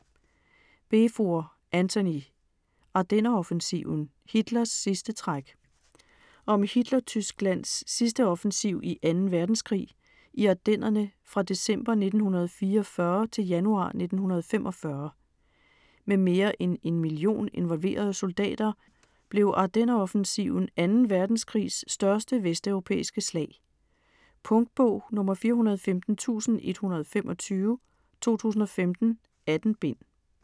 Beevor, Antony: Ardenneroffensiven: Hitlers sidste træk Om Hitler-Tysklands sidste offensiv i 2. verdenskrig, i Ardennerne fra december 1944 til januar 1945. Med mere end 1 million involverede soldater blev Ardenneroffensiven 2. verdenskrigs største vesteuropæiske slag. Punktbog 415125 2015. 18 bind.